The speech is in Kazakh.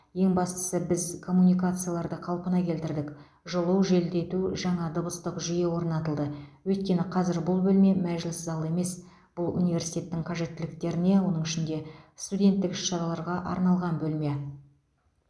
ең бастысы біз коммуникацияларды қалпына келтірдік жылу желдету жаңа дыбыстық жүйе орнатылды өйткені қазір бұл бөлме мәжіліс залы емес бұл университеттің қажеттіліктеріне оның ішінде студенттік іс шараларға арналған бөлме